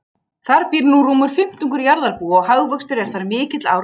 Þar býr nú rúmur fimmtungur jarðarbúa og hagvöxtur er þar mikill ár hvert.